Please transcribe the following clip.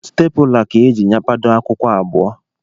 Stapụla ka ejiri nyapado akwụkwọ abụọ